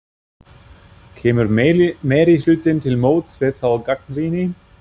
Kemur meirihlutinn til móts við þá gagnrýni?